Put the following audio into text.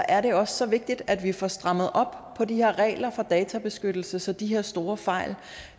er det også så vigtigt at vi får strammet op på de her regler for databeskyttelse så de her store fejl